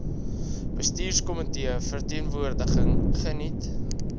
bestuurskomitee verteenwoordiging geniet